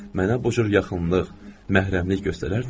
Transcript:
Mənə bu cür yaxınlıq, məhrəmlik göstərərdimi?